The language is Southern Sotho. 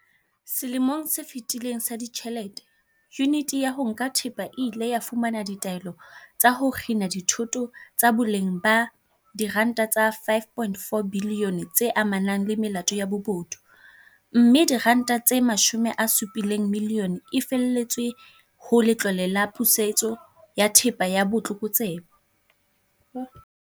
Selemong se fetileng sa ditjhelete, Yuniti ya ho Nka Thepa e ile ya fumana ditaelo tsa ho kgina dithoto tsa boleng ba R5.4 bilione tse amanang le melato ya bobodu, mme R70 milione e lefetswe ho Letlole la Pusetso ya Thepa ya Botlokotsebe.